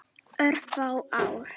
Örfá ár.